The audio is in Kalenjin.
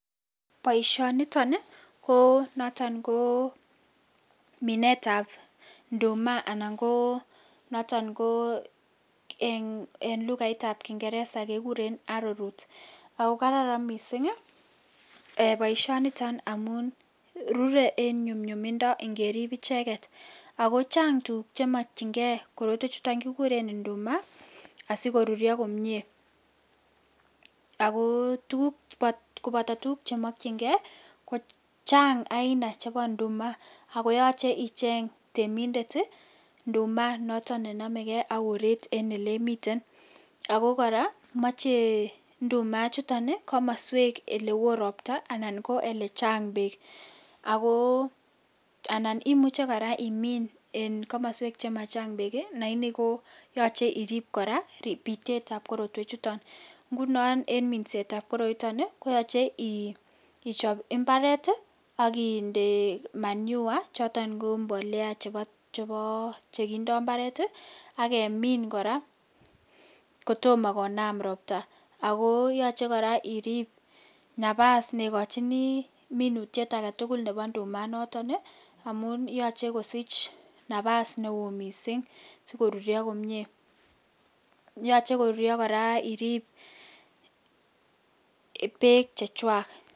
boiyoniton ko noton koo minet ab ndumaa anan koo noton koo en lugait ab kingereza rkegureen arrow root ago kararan koot mising boisioniton amun ruree en nyumyumindo ngeriib icheget ago chang tuguk chemokyingee korotwek chuton kigureen ndumaa osigoruuryo komyee agoo koboto tuguk chemokyingee ko chaang aina chebo ndumaa koyoche icheng temindet ndumaa ago yooche icheng temindet iih ndumaa noton nenomegee ak koreet noton nemiten ago koraa moche ndumaa ichuton iih komosweek chee elewoo ropta anan ko elechaang beek, agoo anan imuche koraa imin en komosweek chemachang beek iih lagini yoche irrib koraa bitet ab korotwek chuton, ngunon en minseet ab koroiton iih koyoche iichop mbareet iih ak indee manure choton ko mbolea cheboo chegindoo mbareet iih ak kemin koraa kotom konaam ropta agoo yoche koraa iriib nabaas negochinii minutyet agetugul nebo ndumaa inotok iih omun yoche kosich nabaas neoo kot mising sigoruryo komyee, yoche koruryoo koraa iriib beek chechwaak